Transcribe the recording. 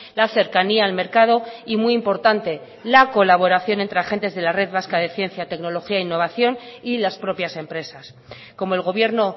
la cercanía el mercado y muy importante la colaboración entre agentes de la red vasca de ciencia tecnología e innovación y las propias empresas como el gobierno